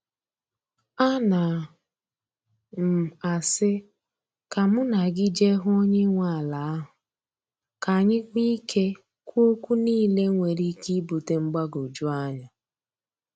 Ana m asị ka mụ na gị je hụ onye nwe ala ahụ, ka anyị nwee ike kwuo okwu niile nwere ike ibute mgbagwoju anya.